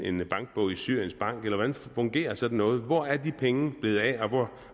en bankbog i syrien bank eller hvordan fungerer sådan noget hvor er de penge blevet af og